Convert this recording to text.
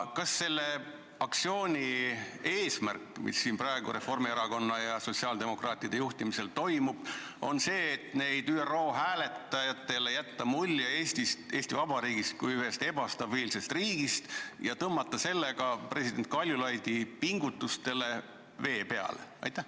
Kas selle aktsiooni eesmärk, mis siin praegu Reformierakonna ja sotsiaaldemokraatide juhtimisel toimub, on see, et jätta ÜRO hääletajatele mulje Eestist, Eesti Vabariigist kui ühest ebastabiilsest riigist ja tõmmata sellega president Kaljulaidi pingutustele vesi peale?